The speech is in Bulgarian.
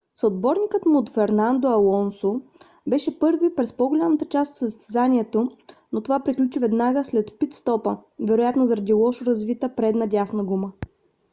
съотборникът му фернандо алонсо беше първи през по - голямата част от състезанието но това приключи веднага след пит - стопа вероятно заради лошо завита предна дясна гума